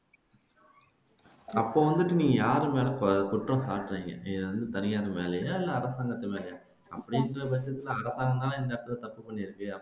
அப்போ வந்து நீங்க யார் மேல குற்றம் சாட்டுறீங்க நீங்க வந்து தனியார் மேலயா இல்லை அரசாங்கத்து மேலயா அப்படிங்கிறபட்சத்துல அரசாங்கம்தான் இந்த இடத்துல தப்ப பண்ணியிருக்கு